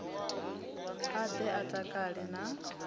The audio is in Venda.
a ḓe a takale na